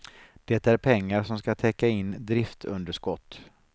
Det är pengar som ska täcka in driftunderskott.